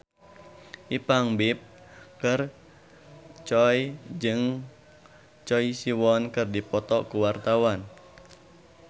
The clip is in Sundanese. Ipank BIP jeung Choi Siwon keur dipoto ku wartawan